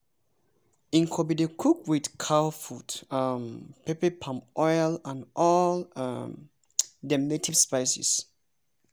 nkwobi dey cook with cow foot um pepper palm oil and all um dem native spices.